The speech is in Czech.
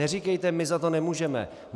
Neříkejte my za to nemůžeme.